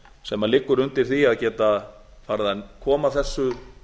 sem liggur undir því að geta farið að koma þessum